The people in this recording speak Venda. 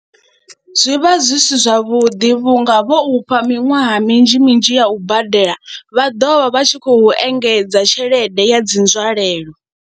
Zwi vha zwi si zwavhuḓi vhunga vho u fha miṅwaha minzhi minzhi ya u badela vha ḓo vha vha tshi khou engedza tshelede ya dzi nzwalelo.